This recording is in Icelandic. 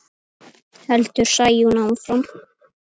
Mæltu fátt og hlæðu lágt.